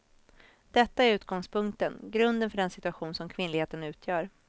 Detta är utgångspunkten, grunden för den situation som kvinnligheten utgör.